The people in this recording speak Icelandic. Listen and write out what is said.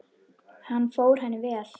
Hann fór henni vel.